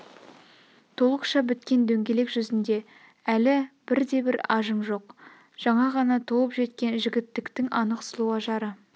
толықша біткен дөңгелек жүзінде әл бірде-бір ажым жоқ жаңа ғана толып жеткен жігіттіктің анық сұлу ажары